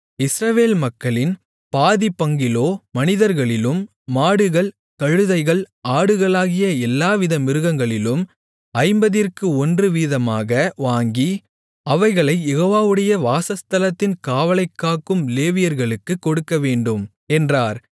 இஸ்ரவேல் மக்களின் பாதிப்பங்கிலோ மனிதர்களிலும் மாடுகள் கழுதைகள் ஆடுகளாகிய எல்லா வித மிருகங்களிலும் ஐம்பதிற்கு ஒன்று வீதமாக வாங்கி அவைகளைக் யெகோவாவுடைய வாசஸ்தலத்தின் காவலைக்காக்கும் லேவியர்களுக்குக் கொடுக்கவேண்டும் என்றார்